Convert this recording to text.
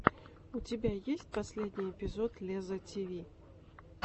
у тебя есть последний эпизод лезза тиви